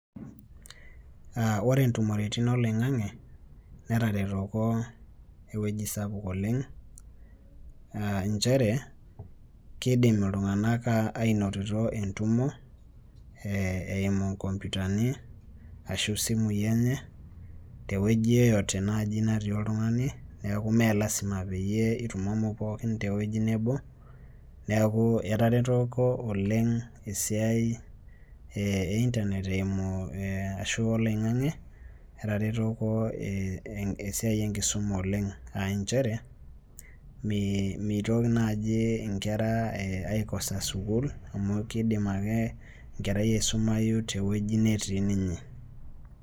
Uh ore intumoritin oloing'ang'e netaretoko ewueji sapuk oleng uh inchere kidim iltunga'anak ainotito entumo eh eimu inkompiutani ashu isimui enye tewueji yeyote naaji natii oltung'ani niaku mee lasima peyie itumomo pookin tewuei nebo neeku etaretoko oleng esiai eh e internet eimu ashu oloing'ang'e etaretoko eh esiai enkisuma oleng ainchere mee meitoki naaji inkera eh aikosa sukuul amu kidim ake enkerai aisumayu tewueji netii ninye.